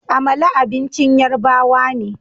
Amala abincin Yarbawa ne